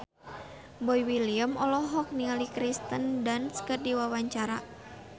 Boy William olohok ningali Kirsten Dunst keur diwawancara